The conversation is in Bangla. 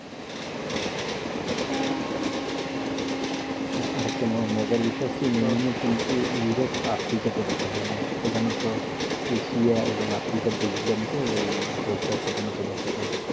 আরেকটা মজার বিষয় হচ্ছে যে নিউমোনিয়ায় কিন্তু ইউরোপ, আফ্রিকাতে দেখা যায় না এটা প্রধানত এশিয়া এবং আফ্রিকার দেশ গুলাতে এই রোগটা প্রধানত দেখা যায়,